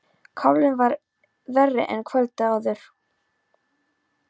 Kálfinn var verri en kvöldið áður.